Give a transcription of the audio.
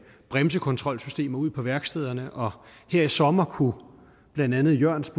bremsekontrolsystemer ud på værkstederne og her i sommer kunne blandt andet jørns